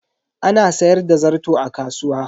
Ana sayar da zarto a kasuwa.